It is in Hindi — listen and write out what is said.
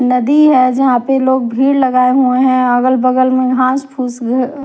नदी है जहा पे लोग भीड़ लगाए हुए अगल बगल में घास पूस घ --